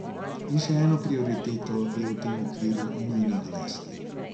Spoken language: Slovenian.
In še eno prioriteto je v tem okviru nujno navesti.